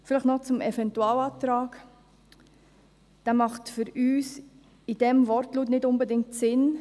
Vielleicht noch zum Eventualantrag: Dieser macht im vorliegenden Wortlaut nicht unbedingt Sinn.